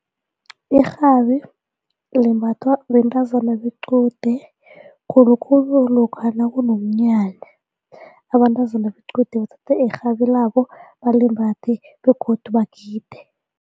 Irhabi limbathwa bentazana bequde khulukhulu lokha nakunomnyanya abentazana bequde bathathe irhabilabo balimbathe begodu bagide.